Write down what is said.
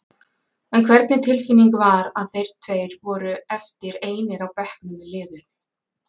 En hvernig tilfinning var að þeir tveir voru eftir einir á bekknum með liðið?